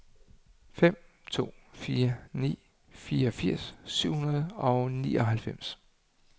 fem to fire ni fireogfirs syv hundrede og nioghalvfems